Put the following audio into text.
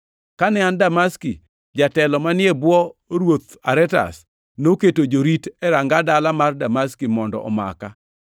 Kane an Damaski, jatelo manie bwo ruoth Aretas noketo jorit e ranga dala mar jo-Damaski mondo omaka.